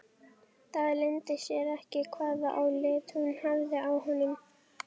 Þrátt fyrir aftakaveður sem komið var, gekk lendingin vel.